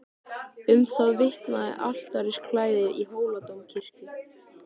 Um það vitnaði altarisklæðið í Hóladómkirkju.